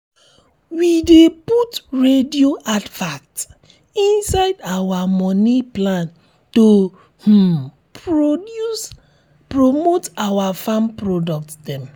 we dey put radio advert inside our moni plan to um promote our farm product dem